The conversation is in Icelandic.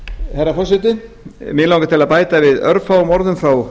herra forseti mig langar til að bæta við örfáum orðum frá